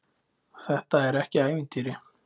Þetta er ekki ævintýri.